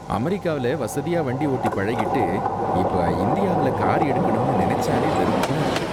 அமெரிக்காவுல வசதியா வண்டி ஓட்டி பழகிட்டு, இப்ப இந்தியாவுல கார் எடுக்கணும்னு நினைச்சாலே வெறுப்பா இருக்கு.